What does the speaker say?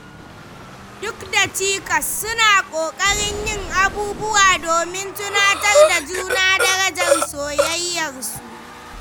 Duk da cikas, suna ƙoƙarin yin abubuwa domin tunatar da juna darajar soyayyarsu.